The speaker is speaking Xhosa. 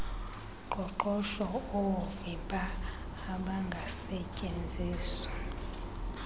qoqosho oovimba obangasetyenziswa